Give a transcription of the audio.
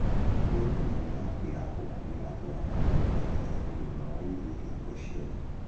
Tigĩrĩra nyama yaku ya mbũkũ nĩratwarana na mitaratara ya ũgima wa irio hingo ciothe